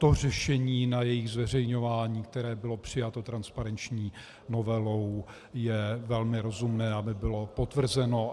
To řešení na jejich zveřejňování, které bylo přijato transparenční novelou, je velmi rozumné, aby bylo potvrzeno.